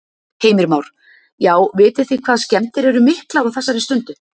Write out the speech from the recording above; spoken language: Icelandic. Heimir Már: Já, vitið þið hvað skemmdir eru miklar á þessari stundu?